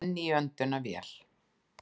Enn í öndunarvél